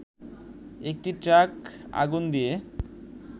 একটি ট্রাক আগুন দিয়ে